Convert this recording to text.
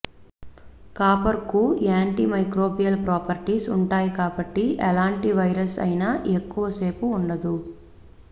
కాపర్కు anti microbial properties ఉంటాయి కాబట్టి ఎలాంటి వైరస్ అయినా ఎక్కువ సేపు ఉండదు